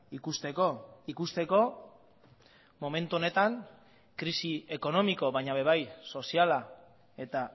ikusteko ikusteko momentu honetan krisi ekonomiko baina ere bai soziala eta